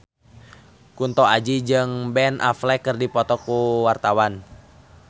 Kunto Aji jeung Ben Affleck keur dipoto ku wartawan